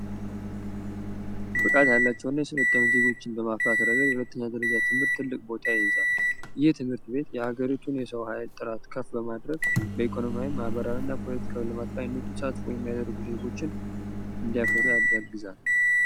ብቃት ያላቸውና የሰለጠኑ ዜጎችን በማፍራት ረገድ የሁለተኛ ደረጃ ትምህርት ቤት ትልቅ ቦታ ይዛለች የትምህርት ቤት የሀገሪቱን የሰው ኃይል ጥራት ከፍ በማድረግ በኢኮኖሚያዊ ማህበራዊና ልማት ላይ ንቁ ተሳትፎ የሚያደርጉ ዜጎችን ለማፍራት ያግዛል።